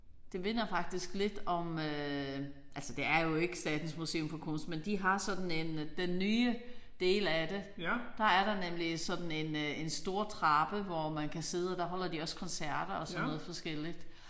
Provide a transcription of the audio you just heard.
Det minder faktisk lidt om øh altså det er jo ikke Statens Museum for Kunst men de har sådan en den nye del af det der er der nemlig sådan en øh en stor trappe hvor man også kan sidde der holder de også koncerter og sådan noget forskelligt